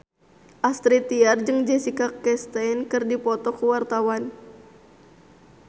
Astrid Tiar jeung Jessica Chastain keur dipoto ku wartawan